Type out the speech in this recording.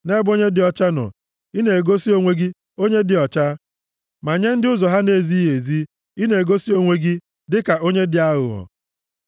Nʼebe onye dị ọcha nọ, ị na-egosi onwe gị onye dị ọcha, ma nye ndị ụzọ ha na-ezighị ezi, ị na-egosi onwe gị dịka onye dị aghụghọ.